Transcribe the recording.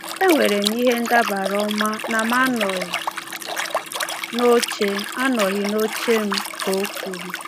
“E nwere m ihe ndabara ọma na m anọghị n’oche anọghị n’oche m,” ka o kwuru.